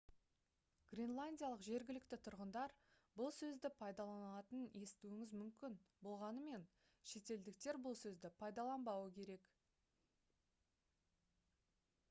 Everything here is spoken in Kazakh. гренландиялық жергілікті тұрғындар бұл сөзді пайдаланатынын естуіңіз мүмкін болғанымен шетелдіктер бұл сөзді пайдаланбауы керек